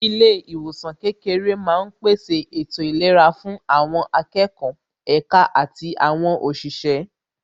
Ilé ìwòsàn kékeré máa ń pèsè ètò ìlera fún àwọn akẹ́kọ̀ọ́, èka àti àwọn òṣìṣẹ́